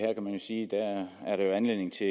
anledning til